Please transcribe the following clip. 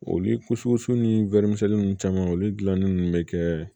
Olu ni wɔri misɛnnin ninnu caman olu dilannen bɛ kɛ